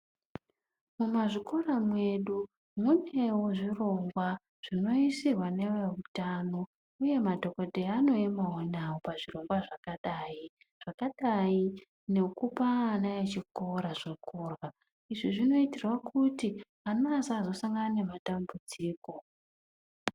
Mumazvikora mwedu, munewo zvirongwa zvinoyisirwa nevewutano. Uye madhokodheya anoyemawo nawo pazvirongwa zvakadayi. Zvakadayi nekupa ana echikora zvikora. Izvi zvinoyitirawo kuti, ana asazosangana nematambudziko.